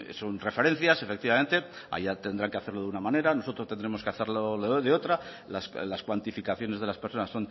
son referencias efectivamente allá tendrán que hacerlo de una manera nosotros tendremos que hacerlo de otra las cuantificaciones de las personas